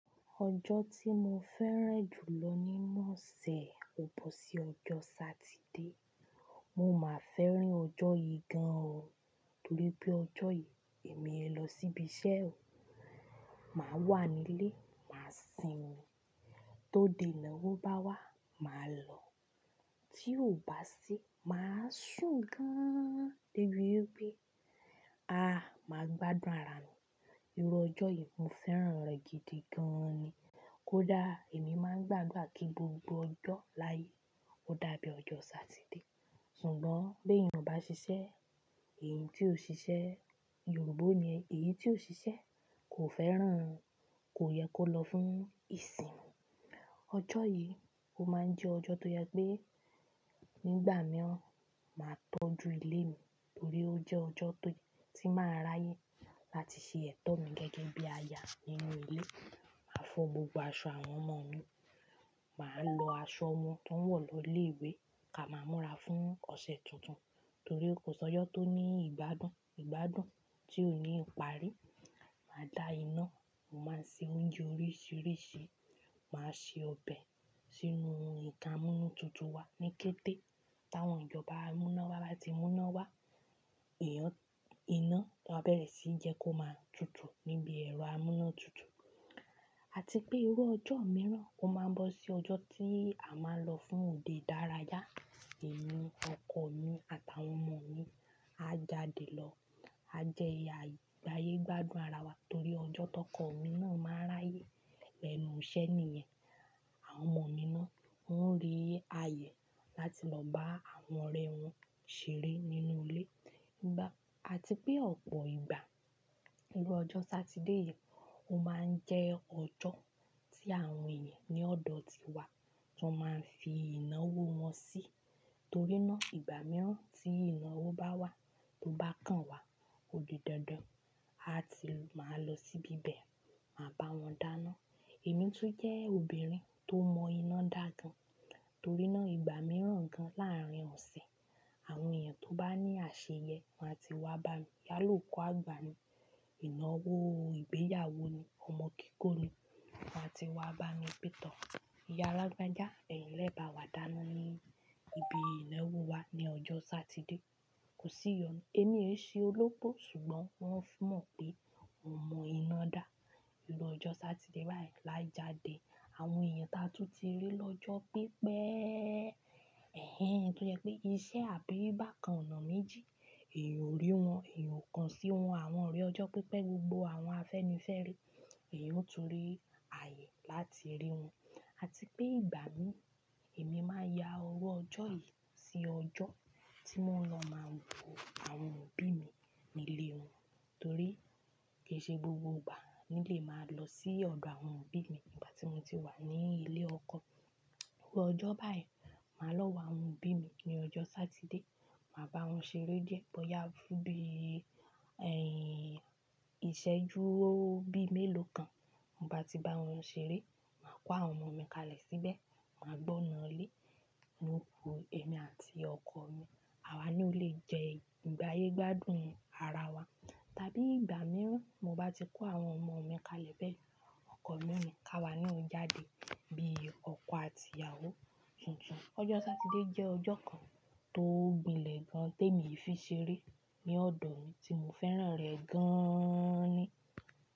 Ọjọ́ tí mo fẹ́ràn jù lọ nínú ọ̀sẹ̀ ò bó sí ọjọ́ Sátidé. Mo máa fẹ́ràn ọjọ́ yìí gan o torí pé ọjọ́ yìí èmi ẹ lọ síbi iṣẹ́ o. Màá wà nílé, màá sinmi. Tó de ìnáwó bá wá, màá lọ. Tí ò bá sí, màá sùn gan-an débi wipe. Aà, màá gbádùn ara mi. Irú ọjọ́ yìí mo fẹ́ràn rẹ̀ gidi gan ni. Kódà èmi máa ń gbà adura kí gbogbo ọjọ́ láàyè ó dàbí ọjọ́ Sátidé. Ṣùgbọ́n bí èèyàn bá ṣiṣẹ́, èyí tí ó ṣiṣẹ́ Yorùbá ni ẹ, èyí tí ó ṣiṣẹ́ kò fẹ́ràn, kò yẹ kó lọ fún ìsìn. Ọjọ́ yìí ó máa ń jẹ́ ọjọ́ tó yẹ pé nígbà mìíràn, màá tọ́jú ilé mi torí ó jẹ́ ọjọ́ tó, tí màá ráyè láti ṣe ètò mi gẹ́gẹ́ bí àyà nínú ilé. Màá fọ gbogbo aṣọ àwọn ọmọ mi. Màá lọ aṣọ wọn tó wọ̀ lọ ilé ìwé ká máa múra fún ọ̀sẹ̀ tuntun torí ó kò sọ́jọ́ tó ní ìgbádùn, ìgbádùn tí ó ní ìparí. Màá da iná, màá se oúnjẹ oríṣìíríṣìí. Màá se ọbẹ̀ sínú nkan amúnú tuntun wa ní kété. Táwọn ìjọba amúná wa bá ti mú iná wá, ìyán, iná, a bẹ̀rẹ̀ síí jẹ́ kó máa tutù níbi ẹ̀rọ amúná tuntun. Àti pé irú ọjọ́ mìíràn ó máa ń bọ́ sí ọjọ́ tí à máa lọ fún òde dárayá. Èmi, ọkọ mi àtàwọn ọmọ mi a jáde lọ. A jẹ agbáyé gbádùn ara wa torí ọjọ́ tó kọ̀ ọmọ mi náà máa ráyè. Lẹ́nu iṣẹ́ ni ìyẹn. Àwọn ọmọ mi náà ń rí ààyè láti lọ bá àwọn ọ̀rẹ́ wọn ṣeré nínú ilé. Ìgbà, àti pé ọ̀pọ̀ ìgbà, irú ọjọ́ Sátidé yìí ó máa ń jẹ́ ọjọ́ tí àwọn èèyàn ní ọ̀dọ̀ tiwa, wọn máa ń fi ináwó wọn sí torí náà ìgbà mìíràn tí ináwó bá wá, tó bá kan wá odidandan, a ti máa lọ síbi ibẹ̀, máa bá wọn dáná. Èmi tún jẹ́ obìnrin tó mọ iná dà gan torí náà ìgbà mìíràn gan láàárín ọ̀sẹ̀, àwọn èèyàn tó bá ní àṣeyẹ wọ́n á ti wá bá mi. Yala oku àgbà ni, iná wó ìgbéyàwó ni, ọmọ kíkó ni, wọ́n á ti wá bá mi pẹ̀ too. Ìyá alágbajá, ẹ̀yin lẹ bá wa dàná ní ibi iná wó wa ní ọjọ́ Sátidé. Kò sí ìyọnu. Èmi èí ṣe olópò ṣùgbọ́n wọ́n tún mọ̀ pé mo mọ iná dà. Irú ọjọ́ Sátidé báyìí lájáde, àwọn èèyàn taa tún ti rí lọ́jọ́ pípẹ́. Ẹ̀hẹ́n, tó yẹ pé iṣẹ́ àbí bákan ọ̀nà méjì, èyan ò rí wọn, èyan ò kan sí wọn. Àwọn ọ̀rẹ́ ọjọ́ pípẹ́ gbogbo àwọn afẹ́nifẹ́re, èyí ò tún rí ààyè láti rí wọn. Àti pé ìgbà mí, èmi máa ya owó ọjọ́ yìí sí ọjọ́ tí mò ń lọ máa wo àwọn òbí mi nílé wọn torí kí í ṣe gbogbo ìgbà mi lè máa lọ sí ọ̀dọ̀ àwọn òbí mi nígbà tí mo ti wà ní ilé ọkọ. Irú ọjọ́ báyìí, màá lọ wá àwọn òbí mi ní ọjọ́ Sátidé. Màá bá wọn ṣeré díẹ̀ bóyá fún bí, ẹ̀y, ìṣẹ́jú bí mélòó kan. Mo bá ti bá wọn ṣeré, màá kó àwọn ọmọ mi kalẹ̀ síbẹ̀, màá gbọ́na lé. Ní òru, èmi àti ọkọ mi, àwa na ó lè jẹ ìgbáyé gbádùn ara wa. Tàbí ìgbà mìíràn, mo bá ti kó àwọn ọmọ mi kalẹ̀ bẹ́ẹ̀, ọkọ mi òní ká wa ni ó jáde bí ọkọ àti ìyàwó tuntun. Ọjọ́ Sátidé jẹ́ ọjọ́ kan tó gbilẹ̀ gan tí èmi fi ṣeré ní ọ̀dọ̀ mi tí mo fẹ́ràn rẹ̀ gaaan ni.